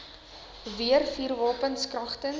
weer vuurwapens kragtens